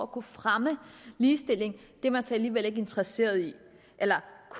kunne fremme ligestilling er man så alligevel ikke interesseret i eller